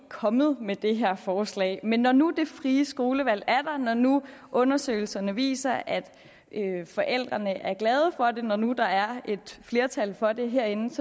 kommet med det her forslag men når nu det frie skolevalg er der når nu undersøgelserne viser at forældrene er glade for det når nu der er et flertal for det herinde